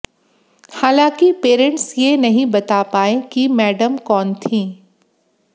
हालांकि पेरेंट्स ये नहीं बता पाए कि मैडम कौन थीं